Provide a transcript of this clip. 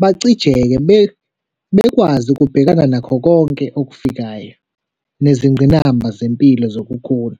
bacijeke, bekwazi ukubhekana nakho konke okufikayo nezingqinamba zempilo zokukhula.